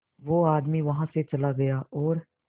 वो आदमी वहां से चला गया और